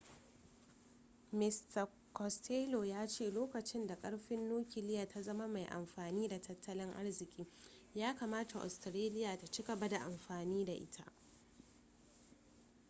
mista costello ya ce lokacin da karfin nukiliya ta zama mai amfani da tattalin arziki ya kamata australia ta ci gaba da amfani da ita